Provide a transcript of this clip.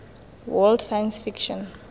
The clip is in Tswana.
world science fiction